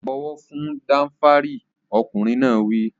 Bọ̀wọ̀ fún Danfari! Ọkùnrin náà wí.